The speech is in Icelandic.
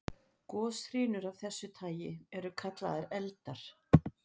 Goshrinur af þessu tagi eru kallaðar eldar.